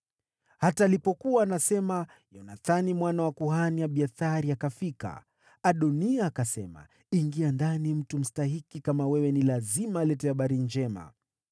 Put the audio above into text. Hata alipokuwa anasema, Yonathani mwana wa kuhani Abiathari akafika. Adoniya akasema, “Ingia ndani. Mtu mstahiki kama wewe ni lazima alete habari njema.”